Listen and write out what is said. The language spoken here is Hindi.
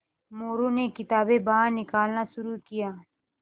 मोरू ने किताबें बाहर निकालना शुरू किया